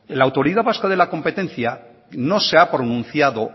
la autoridad vasca de la competencia no se ha pronunciado